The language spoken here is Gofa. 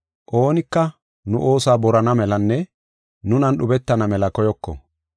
Oonika nu oosuwa borana melanne nunan dhubetana mela koyoko.